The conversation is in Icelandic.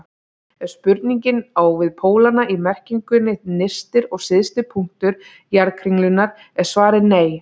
Ef spurningin á við pólana í merkingunni nyrsti og syðsti punktur jarðkringlunnar er svarið nei.